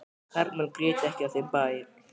Karlmenn grétu ekki á þeim bæ.